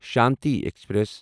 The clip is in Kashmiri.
شانتی ایکسپریس